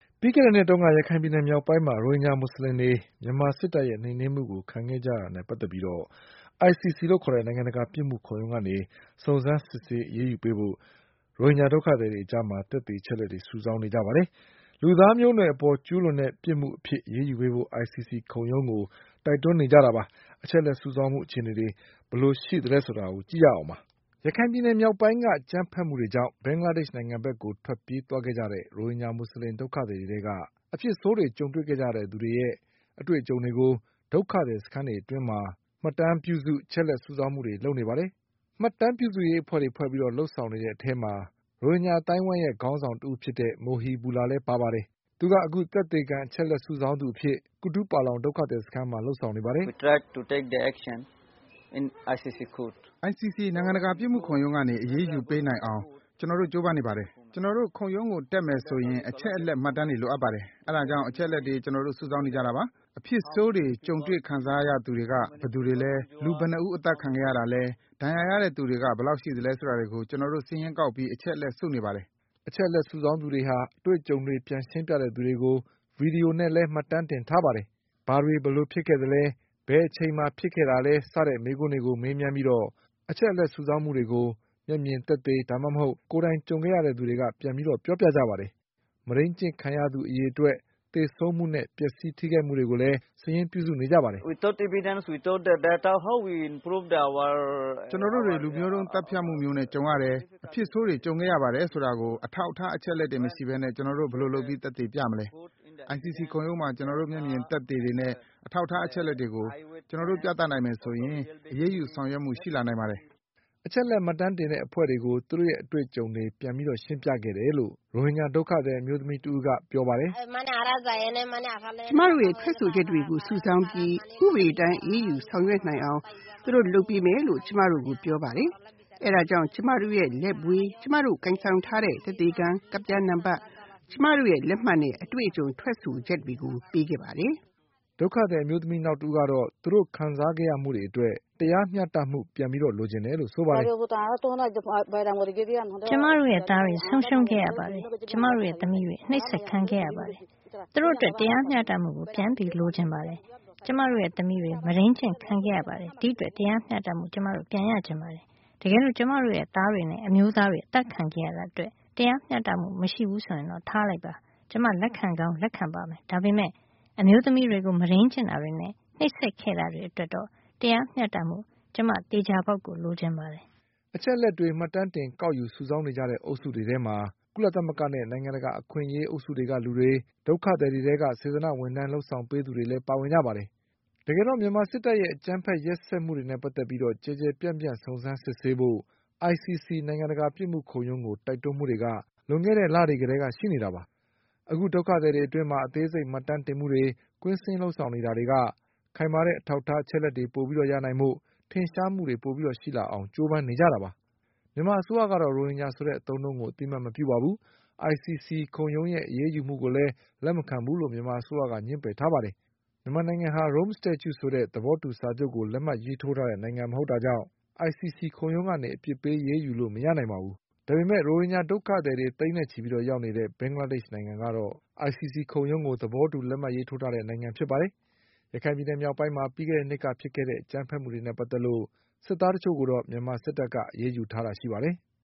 ပြီးခဲ့တဲ့နှစ်တုန်းက ရခိုင်ပြည်နယ်မြောက်ပိုင်းမှာ ရိုဟင်ဂျာမူဆလင်တွေ မြန်မာစစ်တပ်ရဲ့နှိမ်နင်းမှုကိုခံခဲ့ကြရတာနဲ့ပတ် သက်ပြီး ICC လို့ခေါ်တဲ့ နိုင်ငံတကာ ပြစ်မှုခုံရုံးကနေ စုံစမ်း စစ်ဆေးပေးဖို့ ရိုဟင်ဂျာဒုက္ခသည်တွေအကြား သက်သေ အချက်အလက်တွေစုဆောင်းနေပါတယ်။ လူသားမျိုးနွယ်အပေါ်ကျူးလွန်တဲ့ပြစ်မှုအဖြစ်အရေးယူပေးဖို့ ICC ခုံရုံးကို တိုက်တွန်းနေကြတာပါ။ အချက်အလက်စုဆောင်းမှုအခြေအနေတွေဘယ်လိုရှိသလဲဆိုတာ ကိုကျော်အောင်လွင်က ပြောပြမှာပါ။ ရခိုင်ပြည်နယ်မြောက်ပိုင်းက အကြမ်းဘက်မှုတွေကြောင့် ဘင်္ဂလားဒေ့ရှ်နိုင်ငံဘက်ကိုထွက်ပြေးသွားခဲ့ကြတဲ့ရိုဟင်ဂျာမူဆလင်ဒုက္ခသည်တွေထဲက အဖြစ်ဆိုးတွေကြုံခဲ့ကြရတဲ့သူတွေရဲ့အတွေ့အကြုံတွေကို ဒုက္ခသည်စခန်းတွေအတွင်းမှာ မှတ် တမ်းပြုစု အချက်အလက်စုဆောင်းမှုတွေလုပ်နေပါတယ်။ မှတ်တမ်းပြုစုရေးအဖွဲ့တွေဖွဲပြီး လုပ်ဆောင်နေတဲ့အထဲမှာ ရိုဟင်ဂျာအသိုင်းအဝိုင်းရဲ့ခေါင်းဆောင်တဦးဖြစ်တဲ့ Mohibulla လည်းပါပါတယ်။ သူကသက်သေခံ အချက် အလက်စုဆောင်းသူ အဖြစ် ကူတုပါလောင်ဒုက္ခသည်စခန်းမှာ လုပ်ဆောင်နေပါတယ်။ "ICC နိုင်ငံတကာပစ်မှုခုံရုံးကနေအရေးယူပေးနိုင်အောင် ကျနော်တို့ကျိုးပမ်းနေပါတယ်။ ကျနော်တို့ ခုံရုံးကိုတက်မယ်ဆို ရင် အချက်အလက်မှတ်တမ်းတွေလိုအပ်ပါတယ်။ အဲဒါကြောင့် အချက်အလက်တွေကျနော်တို့စုဆောင်းနေကြတာပါ။ အဖြစ်ဆိုးတွေကြုံတွေ့ခံစားခဲ့သူတွေက ဘယ်သူတွေလဲ။ လူဘယ်နှစ်ဦးအသတ်ခံခဲ့ရတာလဲ။ ဒဏ်ရာရတဲ့သူတွေက ဘယ်လောက်ရှိသလဲဆိုတာတွေကို ကျနော်တို့စာရင်းကောက်ပြီးအချက်အလက်စုနေပါတယ်" အချက်လက်စုဆောင်းသူတွေဟာ အတွေ့အကြုံတွေပြန်ရှင်းပြသူတွေကို ဗွီဒီယိုနဲ့လည်းမှတ်တမ်းတင်ထားပါတယ်။ ဘာ တွေဘယ်လိုဖြစ်ခဲ့သလဲ၊ ဘယ်အချိန်မှာဖြစ်ခဲ့တာလဲ စတဲ့မေးခွန်းတွေကိုမေးမြန်းပြီး အချက်အလက်စုဆောင်းမှုတွေကို မျက်မြင်သက်သေ၊ ဒါမှမဟုတ် ကိုယ်တိုင်ကြုံခဲ့ ရသူတွေက ပြန်ပြီးပြောပြကြပါတယ်။ မုဒိန်းကျင့်ခံရသူအရေအတွက်၊ သေဆုံးမှုနဲ့ ပျက်စီးထိခိုက်မှုတွေကိုစာရင်းပြုစုနေကြတာပါ။ "ကျနော်တို့တွေ လူမျိုးတုံးသတ်ဖြတ်မှုမျိုးနဲ့ကြုံရတယ်၊ အဖြစ်ဆိုးတွေ ကြုံခဲ့ရပါတယ်ဆိုတာကို အထောက်အထား အချက်အလက်တွေမရှိပဲနဲ့ ကျနော်တို့ ဘယ်လိုလုပ်ပြီးသက်သေပြမလဲ။ ICC ခုံရုံးမှာ ကျနော်တို့က မျက်မြင်သက်သေ တွေနဲ့ အထောက်အထားအချက်အလက်တွေကို ကျနော်တို့ပြသနိုင်မယ်ဆိုရင်တော့ အရေးယူဆောင်ရွက်မှုရှိလာနိုင်ပါ တယ်။" အချက်အလက်မှတ်တမ်းတင်တဲ့အဖွဲ့ကို သူ့ရဲ့အတွေ့အကြုံတွေပြန်ရှင်းပြခဲ့တယ်လို့ ရိုဟင်ဂျာဒုက္ခသည်အမျိုးသမီးတဦးက ပြောပါတယ်။ "ကျမတို့ရဲ့ထွက်ဆိုချက်တွေကိုစုဆောင်းပြီး ဥပဒေအတိုင်းအရေးယူဆောင်ရွက်နိုင်အောင်သူတို့လုပ်ပေးမယ်လို့ ကျမတို့ ကိုပြောပါတယ်။ အဲဒါကြောင့် ကျမတို့ရဲ့လက်ဗွေ၊ ကျမတို့ကိုင်ဆောင်ထားတဲ့ သက်သေခံကဒ်ပြားနံပတ်၊ ကျမတို့ရဲ့လက် မှတ်နဲ့ အတွေ့အကြုံထွက်ဆိုချက်တွေပေးခဲ့ပါတယ်" ဒုက္ခသည်အမျိုးသမီးနောက်တဦးကတော့ သူတို့ခံစားခဲ့ရမှုတွေအတွက် တရားမျှတမှုကို ပြန်လိုချင်တယ်လို့ဆိုပါတယ်။ "ကျမတို့ရဲ့သားတွေ ဆုံးရှုံးခဲ့ရပါတယ်။ ကျမတို့ရဲ့သမီးတွေ အနှိပ်စက်ခံခဲ့ရပါတယ်။ သူတို့အတွက် တရားမျှတမှုကို ပြန်လိုချင်ပါတယ်။ ကျမတို့ရဲ့သမီးတွေ မုဒိန်းကျင့်ခံခဲ့ရပါတယ်။ အဲဒီအတွက် တရားမျှတမှု ကျမတို့ပြန်ရချင်ပါတယ်။ တကယ်လို့ ကျမတို့ရဲ့သားတွေနဲ့အမျိုးသားတွေအသတ်ခံခဲ့ရတာအတွက် တရားမျှတမှုက မရှိဘူးဆိုရင် ထားလိုက်ပါ။ ကျမ လက်ခံကောင်းလက်ခံပါမယ်။ ဒါပေမဲ့ အမျိုးသမီးတွေကို မုဒိန်းကျင့်တာတွေနဲ့နှိပ်စက်ခဲ့တာတွေအတွက်တော့ တရားမျှတမှု ကျမ သေချာပေါက်လိုချင်ပါတယ်" အချက်အလက်တွေမှတ်တမ်းတင်ကောက်ယူစုဆောင်းနေကြတဲ့အဖွဲ့ တွေထဲမှာ ကုလသမဂ္ဂနဲ့နိုင်ငံတကာ အခွင့်အရေး အုပ်စုကလူတွေ၊ ဒုက္ခသည်တွေထဲက စေတနာ့ဝင်ထမ်းလုပ်ပေးသူတွေလည်းပါဝင်ကြပါတယ်။ တကယ်တော့ မြန်မာစစ် တပ်ရဲ့အကြမ်းဘက်ရက်စက်မှုတွေ ရိုဟင်ဂျာမူဆလင်တွေကိုကျူးလွန်ခဲ့တယ်ဆိုတဲ့ကိစ္စနဲ့ပတ်သက်ပြီး ကျယ်ကျယ်ပြန့် ပြန့်စုံစမ်းစစ်ဆေးဖို့ICC နိုင်ငံတကာပစ်မှုခုံရုံးကို တိုက်တွန်းမှုတွေက လွန်ခဲ့တဲ့လတွေကတည်းကရှိနေတာပါ။ အခု ဒုက္ခ သည်တွေအတွင်း အသေးစိတ်မှတ်တမ်းတင်မှုတွေကွင်းဆင်းလုပ်ဆောင်နေတာက ခိုင်မာတဲ့အထောက်အထားအချက် အလက်တွေပိုပြီးရနိုင်ဖို့ ထင်ရှားမှုတွေပိုပြီးရှိလာအောင်လို့ကြိုးပမ်းနေတာပါ။ မြန်မာအစိုးရကတော့ ရိုဟင်ဂျာဆိုတဲ့အသုံး အနှုန်းကို အသိအမှတ်မပြုပါဘူး။ ICCခုံရုံးရဲ့အရေးယူမှုကိုလည်း လက်မခံဘူးလို့မြန်မာအစိုးရက ငြင်းပယ်ထားပါတယ်။ မြန်မာနိုင်ငံဟာ Rome Statue ဆိုတဲ့သဘောတူစာချုပ်ကို လက်မှတ်ရေးထိုးထားတဲ့ နိုင်ငံမဟုတ်တာကြောင့် ICC ခုံရုံးကနေအပစ်ပေးအယူလို့မရနိုင်ပါဘူး။ ဒါပေမဲ့ ရိုဟင်ဂျာဒုက္ခသည်တွေသိန်းနဲ့ချီပြီးတော့ရောက်နေတဲ့ ဘင်္ဂလားဒေ့ချ်နိုင်ငံကတော့ ICC ခုံရုံးကို သဘောတူလက်မှတ်ရေးထိုးထားတဲ့နိုင်ငံဖြစ်ပါတယ်။ ရခိုင်ပြည်နယ်မြောက်ပိုင်းမှာပြီးခဲ့တဲ့နှစ်ကဖြစ်ခဲ့တဲ့ အကြမ်း ဘက်မှုတွေနဲ့ပတ်သက်လို့ စစ်သားတချို့ကိုတော့ မြန်မာစစ်တပ်က အရေးယူထားတာရှိပါတယ်။